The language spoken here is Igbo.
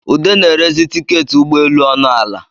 Ude na-erezi tiketị ụgbọ eluọnụ ala